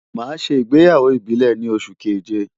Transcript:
Màá ṣe ìgbéyàwó ìbílẹ̀ ni oṣù keje.